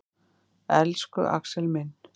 Elsku Axel minn.